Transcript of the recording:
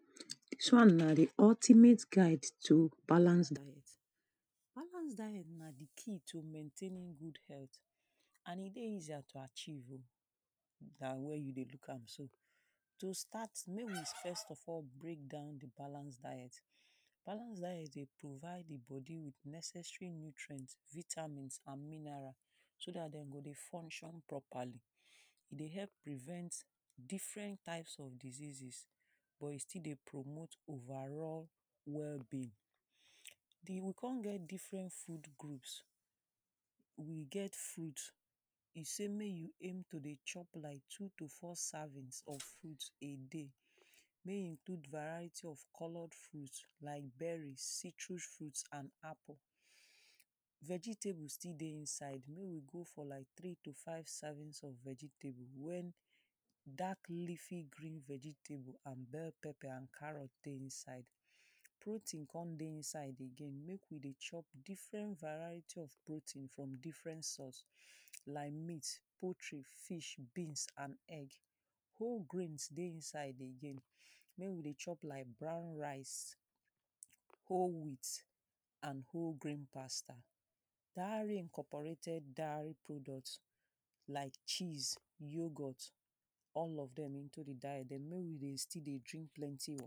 Dis one na the ultimate guide to balance diet. Balance diet na the key to maitaining good health. And e dey easier to achieve oh dat where you dey look am so. To start, make we first of all breakdown the balance diet. Balance diet dey provide the body with necessarily nutrient, vitamins and mineral, so dat they go dey function properly. E dey help prevent different types of diseases. But e still dey promote overall well-being The, the we con get different food groups. We get food E say make you aim to dey chop like two to four servings of food a day mey you put varieties of colour food like berry, citrus fruit and apple. Vegetables still dey inside. Make we go for like three to five servings of vegetable when dark leafy green vegetable and bell pepper and carrot dey inside. Protein con dey inside again. Make we dey chop different varieties of protein from different source. Like meat, poultry, fish, beans and egg. Whole grains dey inside again. Make we dey chop like brown rice, whole wheat and whole grain paster. Dat reincoparated [2] product like cheese, yoghurt. All of dem into the diet. They no you dey still dey drink plenty oh.